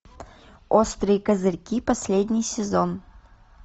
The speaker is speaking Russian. острые козырьки последний сезон